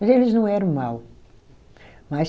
Mas eles não eram mau, mas